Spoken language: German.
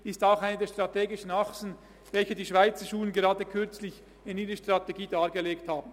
Auch dies ist eine der strategischen Achsen, die die Schweizerschulen erst gerade in einer Strategie dargelegt haben.